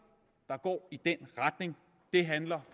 der går i den retning handler